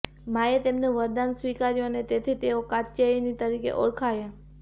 માંએ તેમનું વરદાન સ્વીકાર્યું અને તેથી તેઓ કાત્યાયિની તરીકે ઓળખાયા